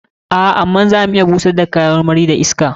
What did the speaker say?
A'a, amma za mu iya bushar da kayan marmari da iska.